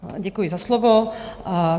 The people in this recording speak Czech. Děkuji za slovo.